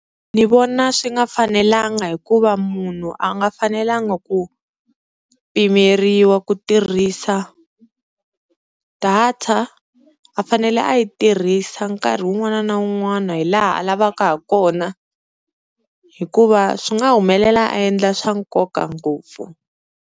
Ni vona swi nga fanelanga hikuva munhu a nga fanelanga ku pimeriwa ku tirhisa data, a fanele a yi tirhisa nkarhi wun'wana na wun'wana hi laha a lavaka ha kona hikuva swi nga humelela a endla swa nkoka ngopfu.